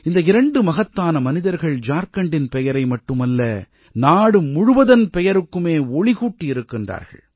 இந்த இரண்டு மகத்தான மனிதர்கள் ஜார்க்கண்டின் பெயரை மட்டுமல்ல நாடு முழுவதன் பெயருக்குமே ஒளி கூட்டியிருக்கின்றார்கள்